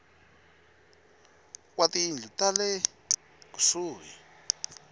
wa tiyindlu ta le kusuhi